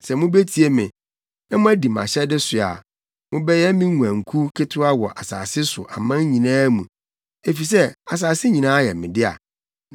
Sɛ mubetie me, na moadi mʼahyɛde so a, mobɛyɛ me nguankuw ketewa wɔ asase so aman nyinaa mu, efisɛ asase nyinaa yɛ me dea.